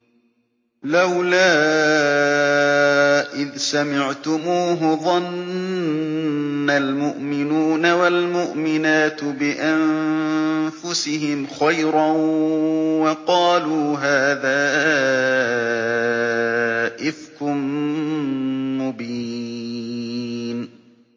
لَّوْلَا إِذْ سَمِعْتُمُوهُ ظَنَّ الْمُؤْمِنُونَ وَالْمُؤْمِنَاتُ بِأَنفُسِهِمْ خَيْرًا وَقَالُوا هَٰذَا إِفْكٌ مُّبِينٌ